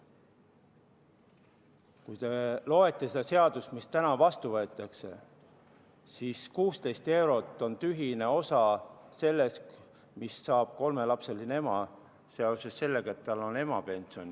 Kui te loete seda seadust, mis täna vastu võetakse, siis 16 eurot on tühine osa sellest, mis saab kolmelapseline ema seoses sellega, et tal on emapension.